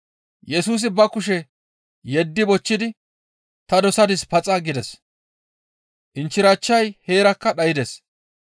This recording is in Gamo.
Yesusi ba kushe yeddi bochchidi, «Ta dosadis, paxa» gides. Inchchirachchay heerakka dhaydes.